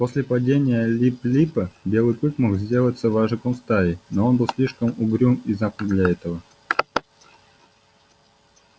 после падения лип липа белый клык мог бы сделаться вожаком стаи но он был слишком угрюм и замкнут для этого